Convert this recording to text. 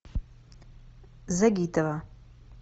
загитова